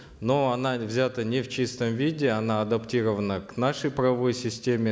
но она взята не в чистом виде она адаптирована к нашей правовой системе